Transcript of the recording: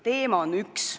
Teema on üks.